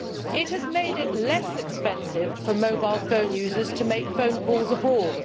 It has made it less expensive for mobile phone users to make phone calls abroad.